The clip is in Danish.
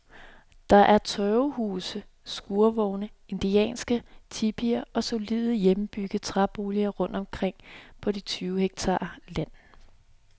Der er tørvehuse, skurvogne, indianske tipier og solide, hjemmebyggede træboliger rundt omkring på de tyve hektar land.